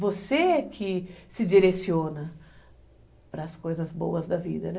Você é que se direciona para as coisas boas da vida, né?